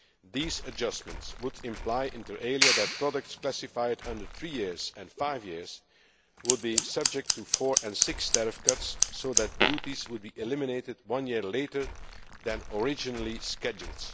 These adjustments would imply, inter alia that products classified under three years and five years would be subject to four and six year tariff cuts respectively, so that duties would be eliminated one year later than originally scheduled.